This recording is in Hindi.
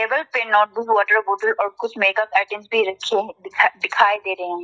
टेबल पे नोटबुक वॉटर बॉटल और कुछ मेकअप आइटम्स भी रखे है दिखा दिखाई दे रहे हैं।